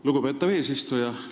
Lugupeetav eesistuja!